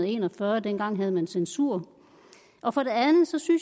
en og fyrre og dengang havde man censur og for det andet synes